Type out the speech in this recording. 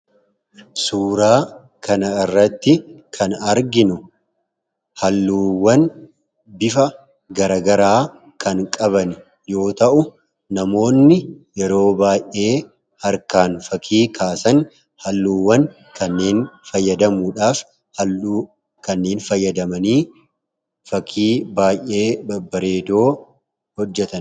Suuraa kanarratti kan arginu halluuwwan bifa garaa garaa kan qaban yoo ta’u, namootni harkaan fakkii kaasan halluuwwan kanneen fayyadamanii fakkii baay'ee bareedoo hojjetanidha.